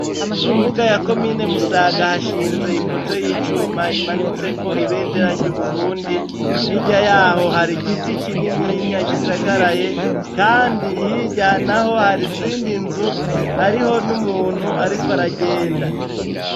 Mu mbuga ya komine Musaga hashinze ipoto y'icuma imanitse ko ibendera ry'Uburundi, hirya yaho har'igiti kinininya gisagaraye, kandi hirya naho har'izindi nzu ,hariho n'umuntu arik' aragenda.